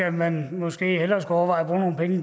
at man måske hellere skulle overveje